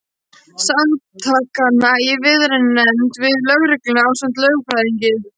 Samtakanna í viðræðunefnd við lögregluna ásamt lögfræðingi.